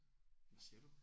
Hvad siger du?